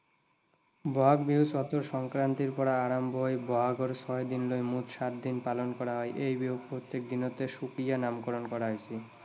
বহাগ বিহু চতৰ সংক্ৰান্তিৰ পৰা বহাগৰ ছয় দিনলৈ মুঠ সাত দিন পালন কৰা হয়। এই বিহু প্ৰত্যেক দিনতে সুকীয়া নামকৰণ কৰা হৈছে।